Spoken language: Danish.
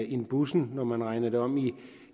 end bussen når man regner det om